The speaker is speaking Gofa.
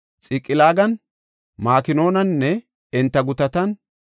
Xiqilaagan, Makonaaninne enta gutatan,